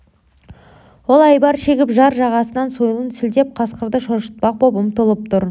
ол айбар шегіп жар жағасынан сойылын сілтеп қасқырды шошытпақ боп ұмтылып тұр